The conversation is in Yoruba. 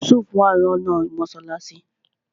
Yusuf wà lọ́nà mọ́sálásí